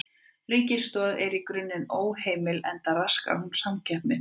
Ríkisaðstoð er í grunninn óheimil enda raskar hún samkeppni.